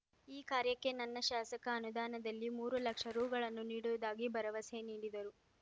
ಈ ಕಾರ್ಯಕ್ಕೆ ನನ್ನ ಶಾಸಕ ಅನುದಾನದಲ್ಲಿ ಮೂರು ಲಕ್ಷ ರೂಗಳನ್ನು ನೀಡುವುದಾಗಿ ಭರವಸೆ ನೀಡಿದರು